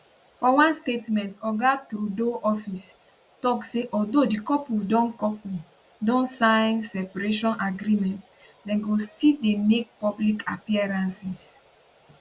for one statement oga trudeau office tok say although di couple don couple don sign separation agreement dem go still dey make public appearances